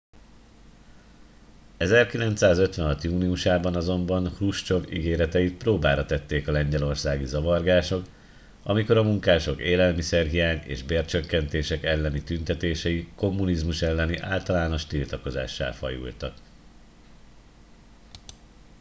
1956 júniusában azonban hruscsov ígéreteit próbára tették a lengyelországi zavargások amikor a munkások élelmiszerhiány és bércsökkentések elleni tüntetései kommunizmus elleni általános tiltakozássá fajultak